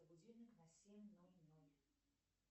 будильник на семь ноль ноль